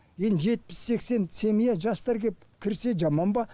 енді жетпіс сексен семья жастар келіп кірсе жаман ба